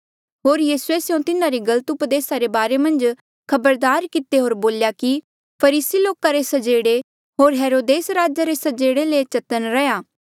होर यीसूए स्यों तिन्हारी गलत उपदेस रे बारे मन्झ खबरदार किते होर बोल्या कि फरीसी लोका रे स्जेड़े होर हेरोदेस राजा रे स्जेड़े ले चतन्न रैहया